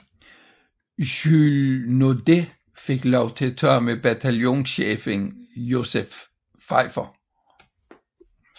Jules Naudet fik lov til at tage med bataljonschefen Joseph Pfeifer